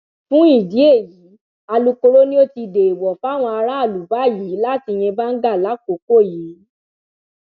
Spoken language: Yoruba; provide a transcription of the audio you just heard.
fún ìdí èyí alukoro ni ó ti dẹẹwọ fáwọn aráàlú báyìí láti yín báńgá lákòókò yìí